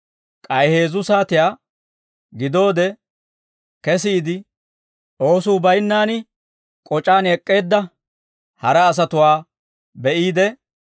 «K'ay heezzu saatiyaa gidoode kesiide, oosuu baynnaan k'oc'aan ek'k'eedda hara asatuwaa be'iide,